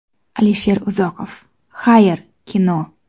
Alisher Uzoqov: Xayr, kino!